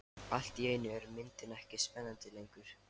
Allt í einu er myndin ekki spennandi lengur.